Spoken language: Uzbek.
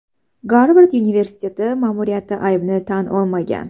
Garvard universiteti ma’muriyati aybini tan olmagan.